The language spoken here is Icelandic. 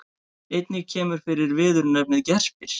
Einnig kemur fyrir viðurnefnið gerpir.